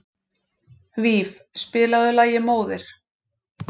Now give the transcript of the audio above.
Víf, spilaðu lagið „Móðir“.